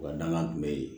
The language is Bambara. Wa dangan tun bɛ yen